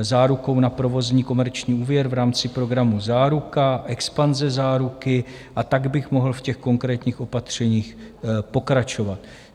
zárukou na provozní komerční úvěr v rámci programu Záruka, EXPANZE - záruky, a tak bych mohl v těch konkrétních opatřeních pokračovat.